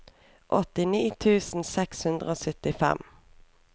åttini tusen seks hundre og syttifem